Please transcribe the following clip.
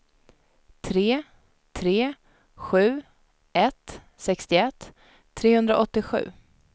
tre tre sju ett sextioett trehundraåttiosju